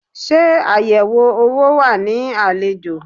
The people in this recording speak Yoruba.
Ṣe ayẹwo owó wa ní àlejò.